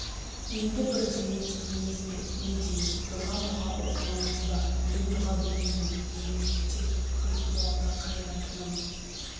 енді бірдеме демейміз бе не дейміз дұға-мұға оқымаймыз ба мен дұға білмеймін менің ептеп құлқуалда қайыратыным